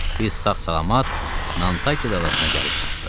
Biz sağ-salamat Nantaket adasına gəlib çatdıq.